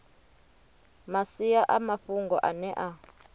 masia a mafhungo ane a